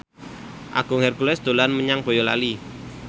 Agung Hercules dolan menyang Boyolali